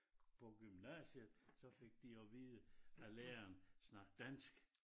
På gymnasiet så fik de at vide af læreren snak dansk